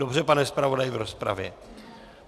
Dobře, pane zpravodaji, v rozpravě.